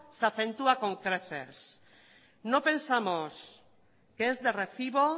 se acentúa con creces no pensamos que es de recibo